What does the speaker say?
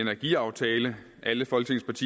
energiaftale alle folketingets